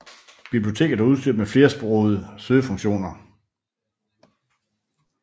Biblioteket er udstyret med flersprode søgefunktioner